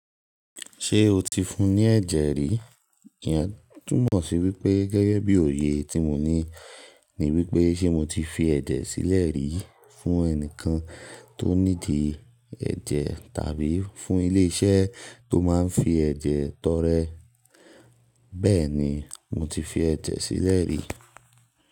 Ṣé o ti fún un ní ẹ̀jẹ̀ rí? Ìyà túmọ̀ sí wípé gẹ́gẹ́ bí òye tí mo ní ni wípé ṣe mo ti fi ẹ̀jẹ̀ sílẹ̀ rí fún ẹnìkan tó níidi ẹ̀jẹ̀ tàbí fún ilé iṣẹ́ tó máa ń fi ẹ̀jẹ̀ tọrẹ. Bẹ́ẹ̀ ni, mo ti fi ẹ̀jẹ̀ sílẹ̀ rí.